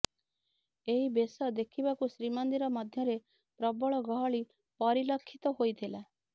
ଏହି ବେଶ ଦେଖିବାକୁ ଶ୍ରୀମନ୍ଦିର ମଧ୍ୟରେ ପ୍ରବଳ ଗହଳି ପରିଲକ୍ଷିତ ହୋଇଥିଲା